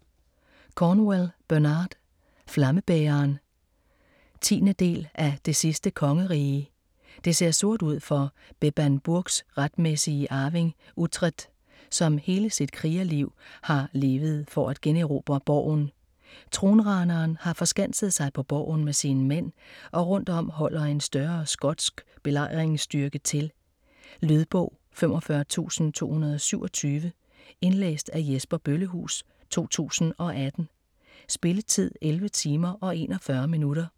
Cornwell, Bernard: Flammebæreren 10. del af Det sidste kongerige. Det ser sort ud for Bebbanburgs retmæssige arving Uhtred, som hele sit krigerliv har levet for at generobre borgen. Tronraneren har forskanset sig på borgen med sine mænd, og rundt om holder en større skotsk belejringsstyrke til. Lydbog 45227 Indlæst af Jesper Bøllehuus, 2018. Spilletid: 11 timer, 41 minutter.